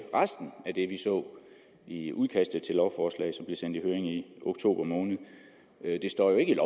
resten af det vi så i udkastet til lovforslaget sendt i høring i oktober måned det står jo ikke i